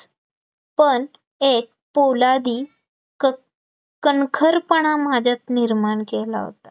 पण एक फौलादी की कणखरपणा माझ्यात निर्माती केला होता